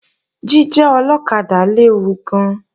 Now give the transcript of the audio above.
Jíjẹ́ ọlọ́kadà léwu gan-an